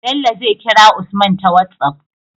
Bello zai kira usman ta whatsapp